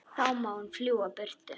Þá má hún fljúga burtu.